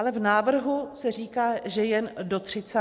Ale v návrhu se říká, že jen do 30. dubna.